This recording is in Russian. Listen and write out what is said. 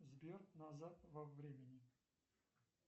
сбер назад во времени